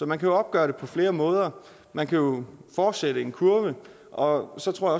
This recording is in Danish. man kan jo opgøre det på flere måder man kan fortsætte en kurve og så tror